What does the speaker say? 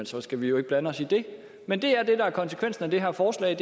så skal vi jo ikke blande os i det men det er det der er konsekvensen af det her forslag